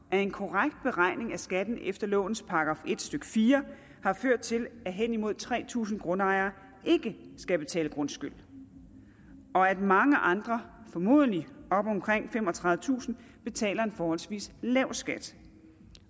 at en korrekt beregning af skatten efter lovens § en stykke fire har ført til at hen imod tre tusind grundejere ikke skal betale grundskyld og at mange andre formodentlig op omkring femogtredivetusind betaler en forholdsvis lav skat